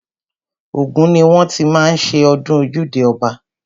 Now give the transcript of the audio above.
Ògùn ni wọ́n ti má ń ṣe ọdún ojúde ọba.